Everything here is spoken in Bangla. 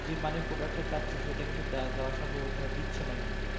যে মানের product টা চাচ্ছে সেটা কিন্তু দেওয়া দ দেওয়া সম্ভব হচ্ছে না দিচ্ছে না কিন্তু